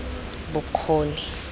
bokgoni